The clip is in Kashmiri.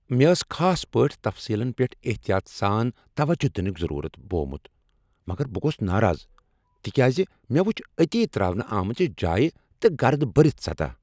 مےٚ ٲس خاص پٲٹھۍ تفصیلن پیٹھ احتیاط سان توجہ دنٕک ضرورت بوومت، مگر بہٕ گوس ناراض تکیاز مےٚ وُچھ أتی ترٛاونہٕ آمژٕ جایہ تہٕ گرد بٔرتھ سطح۔